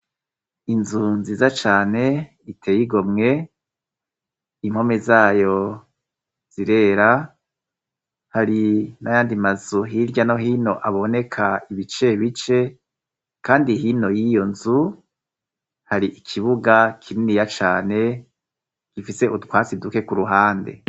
Inzu nziza cane iteye igomwe impome zayo zirera hari n'ayandi mazu hirya no hino aboneka ibicebice kandi hino y'iyo nzu hari ikibuga kininiya cane gifise utwatsi duke ku ruhande.